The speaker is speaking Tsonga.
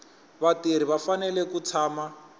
vatirhi va fanele ku tshama